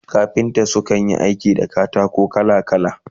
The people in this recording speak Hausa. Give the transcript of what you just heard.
Kafinta su kan Yi aiki da katako kala kala